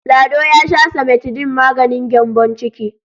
Lado ya sha simetidin maganin gyambon ciki.